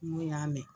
N ko y'a mɛn